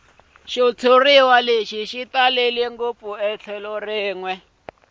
xitshuriwa xi talele ngopfu